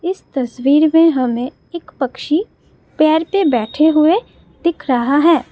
इस तस्वीर में हमें एक पक्षी पेर पर बैठे हुए दिख रहा है।